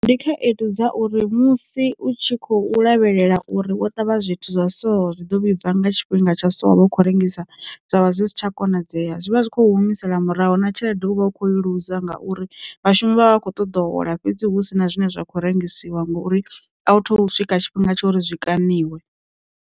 Ndi khaedu dza uri musi u tshi khou lavhelela uri wo ṱavha zwithu zwa so zwi ḓo vhibva nga tshifhinga tsha so wa vha u kho rengisa zwavha zwi si tsha konadzea, zwi vha zwi kho humisela muraho na tshelede u vha u kho luza ngauri vhashumi vha vha vha kho ṱoḓa hola fhedzi hu si na zwine zwa kho rengisiwa ngori a u thu swika tshifhinga tsha uri zwi kaniwa.